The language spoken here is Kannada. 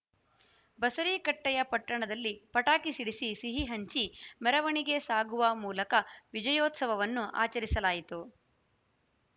ಬಸರೀಕಟ್ಟೆಯ ಪಟ್ಟಣದಲ್ಲಿ ಪಟಾಕಿ ಸಿಡಿಸಿ ಸಿಹಿಹಂಚಿ ಮೆರವಣಿಗೆ ಸಾಗುವ ಮೂಲಕ ವಿಜಯೋತ್ಸವವನ್ನು ಆಚರಿಸಲಾಯಿತು